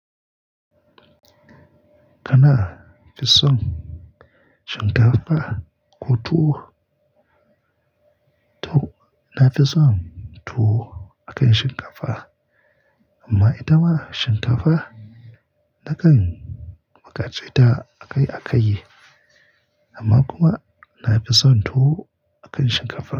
Kana fison shinkafa ko tuwo? To na fison tuwo akan shinkafa amma ita ma shinkafa nakan bukace ta a kai a kai yi amma kuma na fison tuwo akan shinkafa.